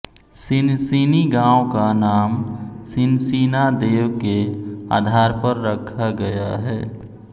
सिनसिनी गाँव का नाम सिनसिना देव के आधार पर रखा गया है